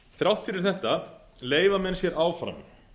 þrátt fyrir þetta leyfa menn sér áfram